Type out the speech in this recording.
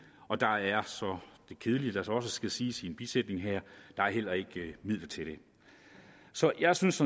og der er det kedelige ved så skal siges i en bisætning her heller ikke er midler til det så jeg synes